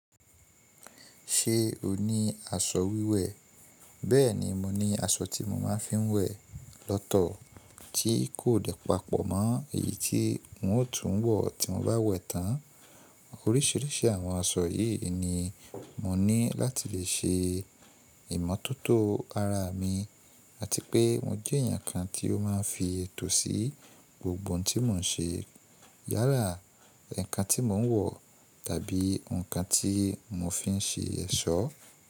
Ṣé o ní aṣọ wíwẹ̀? Bẹ́ẹ̀ni, mo ní aṣọ tí mo ma fi ń wẹ̀ lọ́tọ̀ tí kò dẹ̀ papọ̀ mọ́ èyí tí n o tún ń wọ̀ tí mo bá wẹ̀ tán. Oríṣìíríṣìí àwọn aṣọ yìí ni mo ní láti lè ṣe ìmọ́tótó ara mi àti pé mo jẹ́ ẹ̀yàn kan tí ó ma ń fi ètò sí gbogbo ohun tí mo ń ṣe yálà, ǹkan tí mo ń wọ̀ tàbí ǹkan tí mo fi ń ṣe ẹ̀ṣọ́.